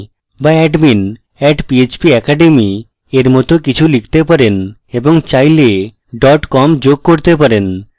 বা admin @php academy or মত কিছু লিখতে পারেন এবং চাইলে com যোগ করতে পারেন